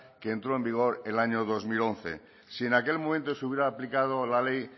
que entró en vigor el año dos mil once si en aquel momento estuviera aplicado la ley